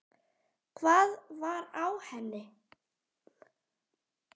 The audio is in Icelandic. Hvað var á henni?